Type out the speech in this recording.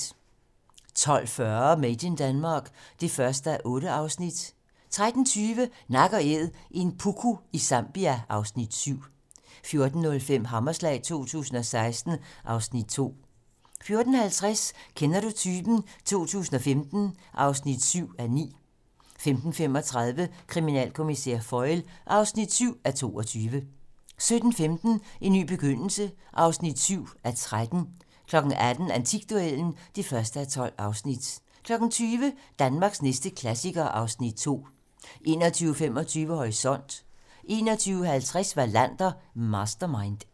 12:40: Made in Denmark (1:8) 13:20: Nak & æd - en puku i Zambia (Afs. 7) 14:05: Hammerslag 2016 (Afs. 2) 14:50: Kender du typen? 2015 (7:9) 15:35: Kriminalkommissær Foyle (7:22) 17:15: En ny begyndelse (7:13) 18:00: Antikduellen (1:12) 20:00: Danmarks næste klassiker (Afs. 2) 21:25: Horisont 21:50: Wallander: Mastermind